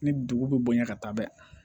Ni dugu bɛ bonya ka taa bɛɛ